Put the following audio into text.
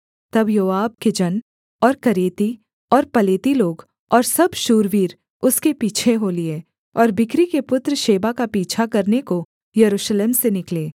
तब योआब के जन और करेती और पलेती लोग और सब शूरवीर उसके पीछे हो लिए और बिक्री के पुत्र शेबा का पीछा करने को यरूशलेम से निकले